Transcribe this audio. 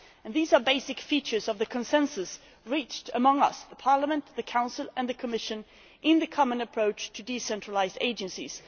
These are basic features of the consensus reached among us Parliament, the Council and the Commission in the common approach to decentralised agencies.